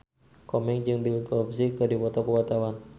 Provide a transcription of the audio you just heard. Komeng jeung Bill Cosby keur dipoto ku wartawan